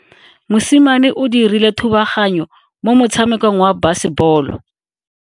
Mosimane o dirile thubaganyo mo motshamekong wa basebolo.